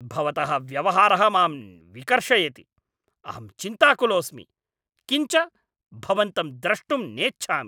भवतः व्यवहारः मां विकर्षयति। अहं चिन्ताकुलोस्मि । किञ्च भवन्तं द्रष्टुं नेच्छामि!